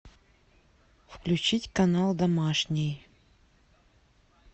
включить канал домашний